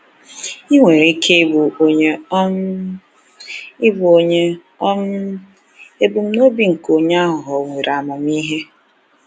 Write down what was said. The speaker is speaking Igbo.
Ị nwere ike ịbụ onye um ịbụ onye um ebumnobi nke onye aghụghọ nwere amamihe.